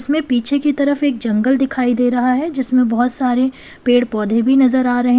इसमें पीछे की तरफ एक जंगल दिखाई दे रहा है जिसमें बहुत सारे पेड़ पौधे भी नजर आ रहें--